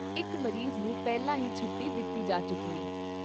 ਇਕ ਮਰੀਜ਼ ਨੂੰ ਪਹਿਲਾਂ ਹੀ ਛੁੱਟੀ ਦਿੱਤੀ ਜਾ ਚੁੱਕੀ ਐ।